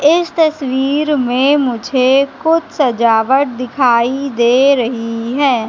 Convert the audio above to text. इस तस्वीर में मुझे कुछ सजावट दिखाई दे रही हैं।